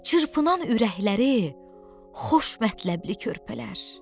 Çırpınan ürəkləri xoş məktəbli körpələr.